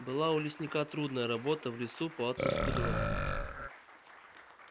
была у лесника трудная работа в лесу по отпуску дров